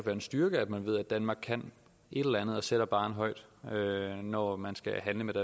en styrke at man ved at danmark kan et eller andet og sætter barren højt når man skal handle med